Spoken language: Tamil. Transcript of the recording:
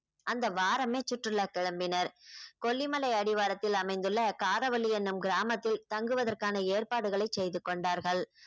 அந்த வாரமே சுற்றுலா கிளம்பினர் கொல்லிமலை அடிவாரத்தில் அமைந்துள்ள காரவல்லி என்னும் கிராமத்தில் தங்குவதற்கான ஏற்பாடுகளை செய்து கொண்டார்கள்